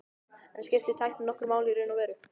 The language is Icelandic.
En skiptir tæknin nokkru máli í raun og veru?